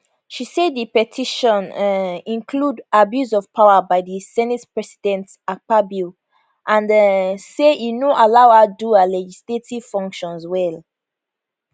she say di petition um include abuse of power by di senate president akpabio and um say e no allow her do her legislative functions well